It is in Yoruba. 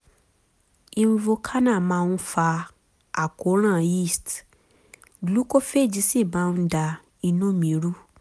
invokana máa ń fa àkóràn yeast glucophage sì máa ń da inú mi rú